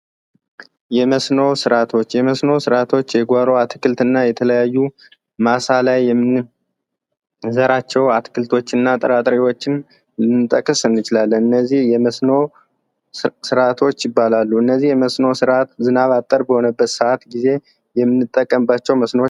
መስኖ ሥርዓቶች የመስኖ ስርዓቶች የጓሮ አትክልት እና የተለያዩ ማሳ ላይ የምንዘራቸው አትክልቶችና ጥራጥሬዎችን ልንጠቅስ እንችላለን። እነዚህ የመስኖ ስርዓቶች ይባላሉ። እነዚህ የመስኖ ሥራ ዝናብ አጠር በሆኑ ሰኣት ጊዜ የምንጠቀምባቸው መስኖዎች ናቸው።